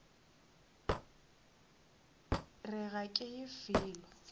re ga ke ye felo